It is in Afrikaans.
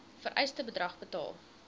vereiste bedrag betaal